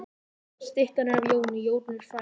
Styttan er af Jóni. Jón er frægur maður.